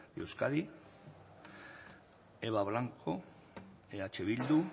de euskadi eba blanco eh bildu